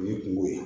O ye kungo ye